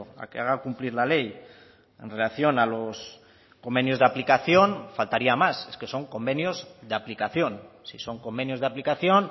a que haga cumplir la ley en relación a los convenios de aplicación faltaría más es que son convenios de aplicación si son convenios de aplicación